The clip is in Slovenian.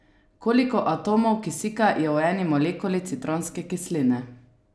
Koliko atomov kisika je v eni molekuli citronske kisline?